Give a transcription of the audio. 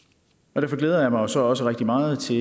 derfor glæder jeg mig jo så også rigtig meget til